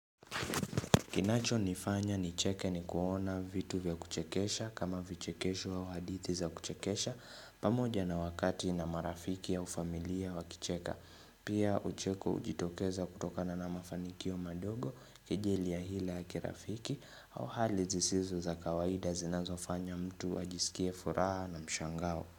Kinacho nifanya nicheke ni kuona vitu vya kuchekesha kama vichekesho wa hadithi za kuchekesha pamoja na wakati na marafiki au familia wakicheka Pia ucheko ujitokeza kutokana na mafanikio madogo kejeli ya hila ya kirafiki au hali zisizo za kawaida zinazo fanya mtu wajisikie furaha na mshangao.